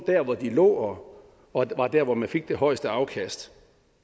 der hvor de lå og var der man fik det højeste afkast